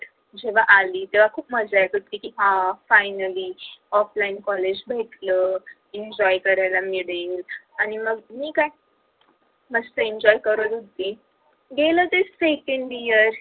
जेव्हा आली तेव्हां खूप मजा येत होती आ finally offline college भेटल enjoy करायला मिळेल आणि मग काय मी मस्त enjoy करत होती गेल ते second year आल ते